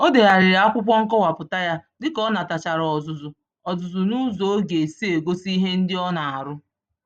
O degharịrị akwụkwọ nkọwapụta yá dịka onatachara ọzụzụ ọzụzụ nụzọ ọ g'esi egosi ihe ndị ọ na-arụ